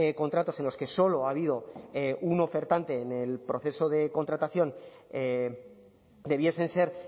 contratos en los que solo ha habido un ofertante en el proceso de contratación debiesen ser